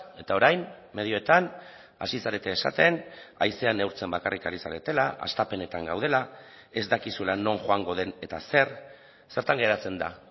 eta orain medioetan hasi zarete esaten haizea neurtzen bakarrik ari zaretela hastapenetan gaudela ez dakizula non joango den eta zer zertan geratzen da